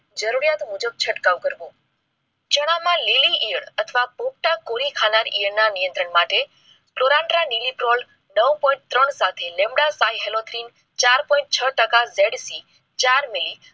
જરૂરિયાત મુજબ તેનો છંટકાવ કરવો. ચણામાં લીલી ઈયર અથવા પોતાગોલ ખાનાર ઈયર ના નિયંત્રણ માટે કોલાદ્રા મીનીત્રોણ નવ point ત્રણ સાથે થી લેમડા હેલોજન સાથે ચાર point ત્રણ ટકા થી ચાર મિલી